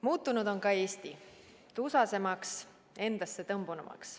Muutunud on ka Eesti – tusasemaks, endassetõmbunumaks.